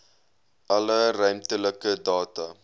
alle ruimtelike data